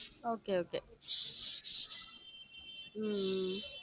Okay okay உம் உம்